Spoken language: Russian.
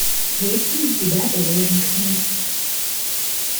есть ли у тебя заложник смерти